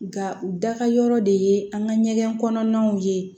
Nka u da ka yɔrɔ de ye an ka ɲɛgɛn kɔnɔnaw ye